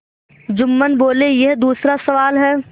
जुम्मन बोलेयह दूसरा सवाल है